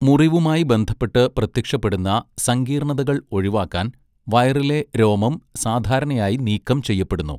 മുറിവുമായി ബന്ധപ്പെട്ട് പ്രത്യക്ഷപ്പെടുന്ന സങ്കീർണതകൾ ഒഴിവാക്കാൻ വയറിലെ രോമം സാധാരണയായി നീക്കം ചെയ്യപ്പെടുന്നു.